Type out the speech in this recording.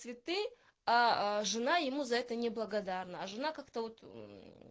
цветы а а жена ему за это неблагодарная жена как-то вот